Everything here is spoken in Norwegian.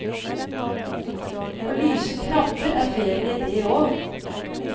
Å lyse krabber er ferie det òg.